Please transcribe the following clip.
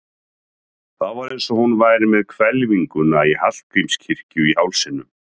Það var eins og hún væri með hvelfinguna í Hallgrímskirkju í hálsinum.